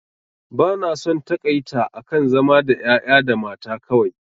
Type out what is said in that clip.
Ba na son taƙaita akan zama da ƴaƴa da mata kawai